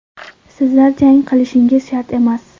Sizlar jang qilishingiz shart emas.